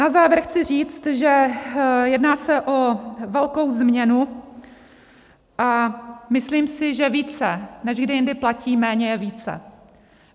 Na závěr chci říct, že se jedná o velkou změnu, a myslím si, že více než kdy jindy platí: Méně je více.